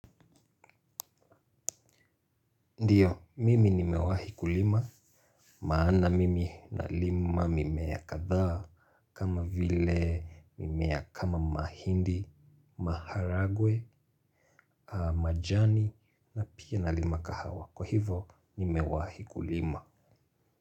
Ndiyo, mimi nimewahi kulima. Maana mimi nalima mimea kadhaa kama vile mimea kama mahindi, maharagwe, majani na pia nalima kahawa. Kwa hivo nimewahi kulima.